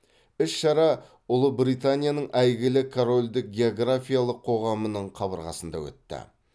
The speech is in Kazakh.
іс шара ұлыбританияның әйгілі корольдік географиялық қоғамының қабырғасында өтті